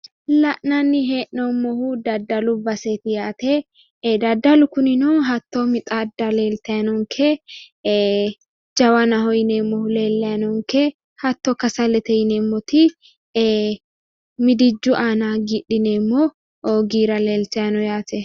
La'nani he'noomohu dadalu baseet yaate dadalu kinino hatto mixadda leeltay noonke ee jawanaho yineemohu lelay noonke hatto kasalete yineemot eemidijju aana gidhineemo goira leeltayno yaate